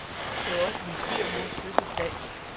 Det var også min svigermors fødselsdag.